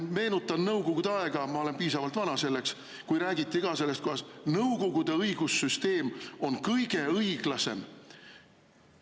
Meenutan Nõukogude aega – ma olen piisavalt vana selleks –, kui räägiti ka sellest, kuidas Nõukogude õigussüsteem on kõige õiglasem.